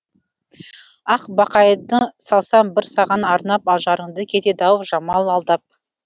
ақбақайды салсам бір саған арнап ажарыңды кетеді ау жамал алдап